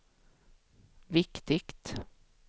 viktigt